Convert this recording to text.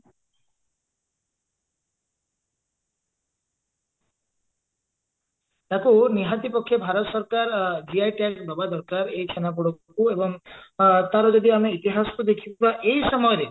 ଆକୁ ନିହାତି ପକ୍ଷେ ଭାରତ ସରକାର GI tag ଦବା ଦରକାର ଏଇ ଛେନାପୋଡକୁ ଏବଂ ଆ ତାର ଯଦି ଆମେ ଇତିହାସ କୁ ଦେଖିବା ଏଇ ସମୟରେ